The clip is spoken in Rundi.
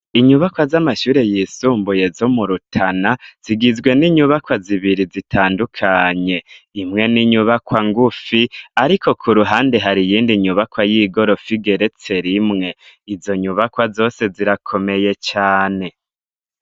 Inyubakwa z'amashure yisumbuye zo mu Rutana, zigizwe n'inyubakwa zibiri zitandukanye. Imwe n'inyubakwa ngufi, ariko ku ruhande har'iyindi nyubakwa y'igorofa igeretse rimwe. Izo nyubakwa zose zirakomeye cane.